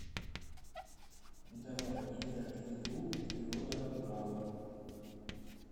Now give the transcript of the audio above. давай играть в игру природа урала